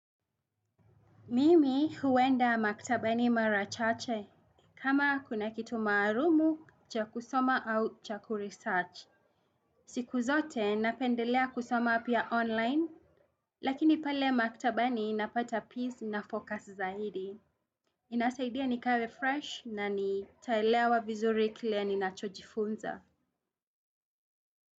Mimi huwenda maktabani marachache. Kama kuna kitu marumu, cha kusoma au chaku research. Siku zote napendelea kusoma pia online. Lakini pale maktabani napata peace na focus zaidi. Inasaidia nikawe fresh na nitaelewa vizuri kile ninachojifunza.